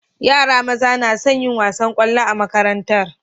Yara maza nason yin wasan kwallo a makarantar